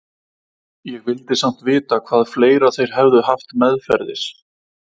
Ég vildi samt vita hvað fleira þeir hefðu haft meðferðis.